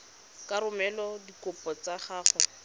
ka romela dikopo tsa gago